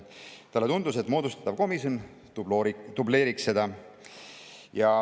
Talle tundus, et moodustatav komisjon dubleeriks seda.